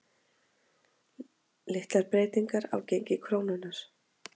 Litlar breytingar á gengi krónunnar